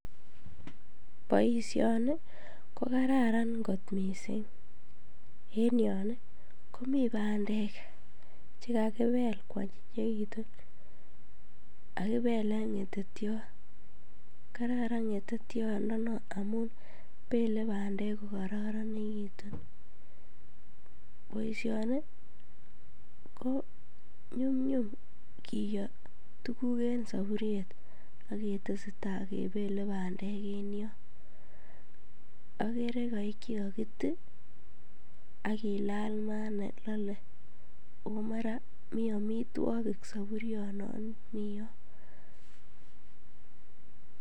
Boisioni ko kararan kot missing en yon ii komii bandek che kakibel kwonyinyegitun kakibelen ngetetiot. Kararan ngetetiondon non ngamun belee bandek ko korononekitun, boisioni ko nyumnyum kiyoo tuguk en soburiet ak ketesetai kebele bandek en yon. Ogere koik che kokitii ak kilal maah ne lole oo mara mii omitwokik soburionon mii yon